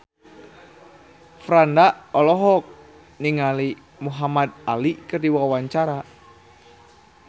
Franda olohok ningali Muhamad Ali keur diwawancara